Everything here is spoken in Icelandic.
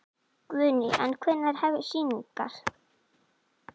Guðný: En hvenær hefjast sýningar?